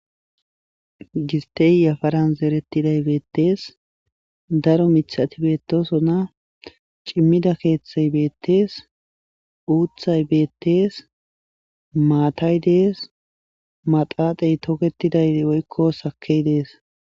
Giste yafaran zeritiday beetes daro mithati beetosona comida keethay beetes uuthay beetes maatay dees maatate toketizay woyko sake de'es.